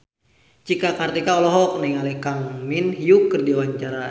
Cika Kartika olohok ningali Kang Min Hyuk keur diwawancara